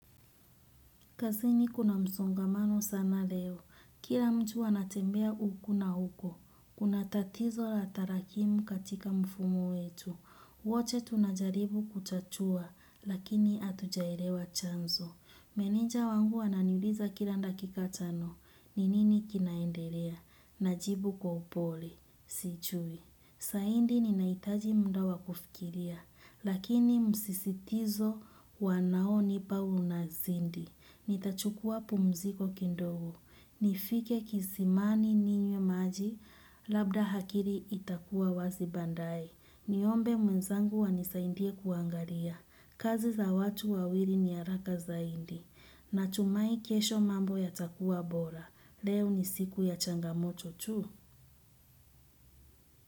Kazini kuna msongamano sana leo, kila mtu ana tembea huku na huko, kuna tatizo la tarakimu katika mfumo wetu. Woche tunajaribu kuchachua, lakini atujaelewa chanzo. Meneja wangu ananiuliza kila ndakika chano, ninini kinaendelea, najibu kwa upole, si chui. Saindi ninaitaji munda wa kufikiria, lakini msisitizo wanaoni pa unazindi. Nitachukua pumziko kindogo. Nifike kisimani ninywe maji labda hakili itakuwa wazi baandaye. Niombe mwenzangu wanisaindie kuangaria. Kazi za watu wawiri ni haraka zaindi. Natumai kesho mambo ya takuwa bora. Leo ni siku ya changamoto tu.